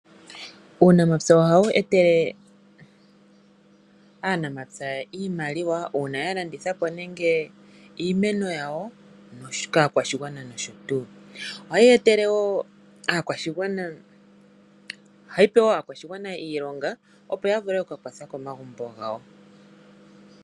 Uunamapya ohawu etelele aanamapya iimaliwa uuna ya landithapo nenge iimeno yawo kaakwashigawana nosho tuu. Ohayi etele aakwashigwana iilonga opo ya vule okuka kwatha komagumbo gawo.